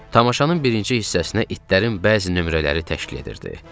Tamaşanın birinci hissəsinə itlərin bəzi nömrələri təşkil edirdi.